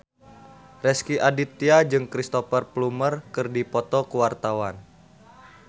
Rezky Aditya jeung Cristhoper Plumer keur dipoto ku wartawan